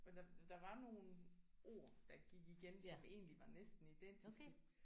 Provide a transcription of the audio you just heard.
Men der der var nogle ord der gik igen som egentlig var næsten identiske